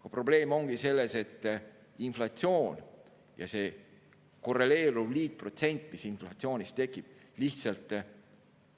Aga probleem ongi selles, et inflatsioon ja see korreleeruv liitprotsent, mis inflatsioonist tekib, lihtsalt